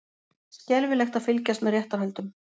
Skelfilegt að fylgjast með réttarhöldum